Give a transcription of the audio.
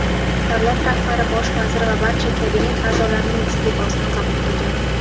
davlat rahbari "bosh vazir va barcha kabinet a’zolarining iste’fosini qabul qilgan".